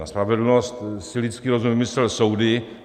Na spravedlnost si lidský rozum vymyslel soudy.